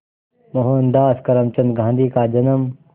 मोहनदास करमचंद गांधी का जन्म